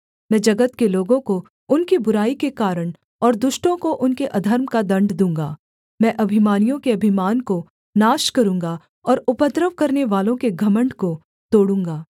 मैं जगत के लोगों को उनकी बुराई के कारण और दुष्टों को उनके अधर्म का दण्ड दूँगा मैं अभिमानियों के अभिमान को नाश करूँगा और उपद्रव करनेवालों के घमण्ड को तोड़ूँगा